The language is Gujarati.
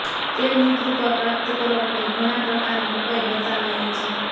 તેમની કૃપા પ્રાપ્ત કરવા માટે ઘણા પ્રકાર ના ઉપાય બતાવાયા છે